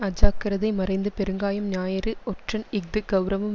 அஜாக்கிரதை மறைந்து பெருங்காயம் ஞாயிறு ஒற்றன் இஃது கெளரவம்